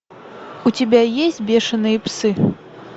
у тебя есть бешеные псы